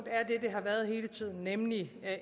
har været hele tiden nemlig at